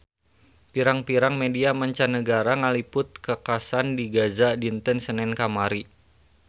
Pirang-pirang media mancanagara ngaliput kakhasan di Gaza dinten Senen kamari